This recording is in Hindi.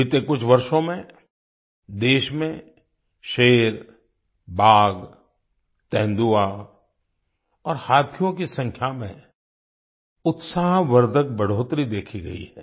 बीते कुछ वर्षों में देश में शेर बाघ तेंदुआ और हाथियों की संख्या में उत्साहवर्धक बढ़ोत्तरी देखी गई है